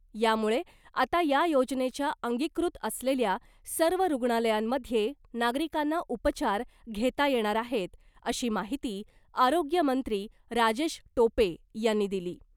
यामुळे आता या योजनेच्या अंगीकृत असलेल्या सर्व रुग्णालयांमध्ये नागरिकांना उपचार घेता येणार आहेत , अशी माहिती आरोग्यमंत्री राजेश टोपे यांनी दिली .